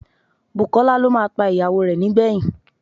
Bùkọ́lá ló máa pa ìyàwó rẹ̀ nígbẹ̀yìn